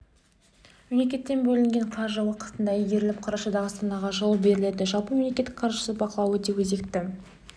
мемлекеттен бөлінген қаржы уақытында игеріліп қарашада астанаға жылу беріледі жалпы мемлекет қаржысын бақылау өте өзекті